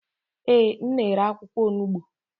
Ee, m na-ere akwụkwọ onugbo.